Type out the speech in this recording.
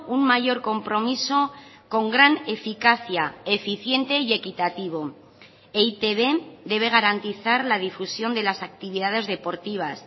un mayor compromiso con gran eficacia eficiente y equitativo e i te be debe garantizar la difusión de las actividades deportivas